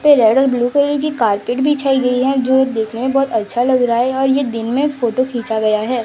Red और blue colour की carpet बिछाई गई है जो देखने में बहोत अच्छा लग रहा है अ ये दिन में फोटो खींचा गया है।